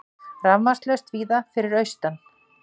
Rafmagnslaust víða fyrir austan